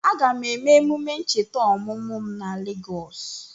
Aga m eme emume ncheta ọmụmụ m na Legọs